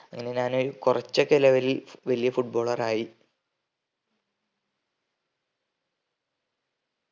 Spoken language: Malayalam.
അങ്ങനെ ഞാന് കൊറച്ചൊക്കെ level ൽ വല്യ foot baller ആയി